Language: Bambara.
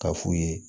K'a f'u ye